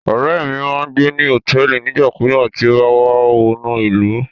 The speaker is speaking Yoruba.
Ọrẹ mi má n gbe ni hotẹẹli nigbakugba ti o ba wa wọnu ilu